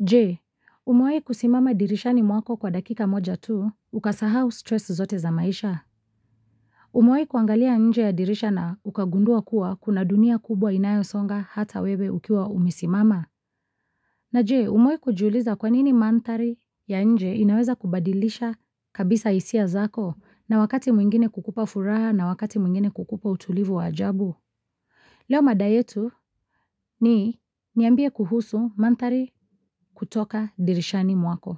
Je, umewahi kusimama dirishani mwako kwa dakika moja tu, ukasahau stress zote za maisha. Umewahi kuangalia nje ya dirisha na ukagundua kuwa kuna dunia kubwa inayosonga hata wewe ukiwa umesimama? Na je, umewahi kujiuliza kwanini manthari ya nje inaweza kubadilisha kabisa hisia zako na wakati mwingine kukupa furaha na wakati mwingine kukupa utulivu wa ajabu. Leo mada yetu ni niambie kuhusu manthari kutoka dirishani mwako.